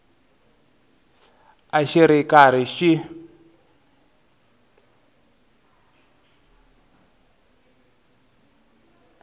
a xi ri karhi xi